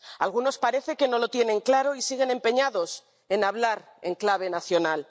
Algunos parece que no lo tienen claro y siguen empeñados en hablar en clave nacional.